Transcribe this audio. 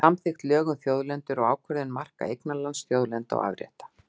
Samþykkt lög um þjóðlendur og ákvörðun marka eignarlands, þjóðlendna og afrétta.